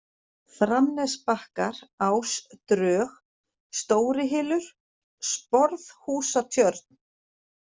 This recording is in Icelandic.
Framnesbakkar, Ásdrög, Stórihylur, Sporðhúsatjörn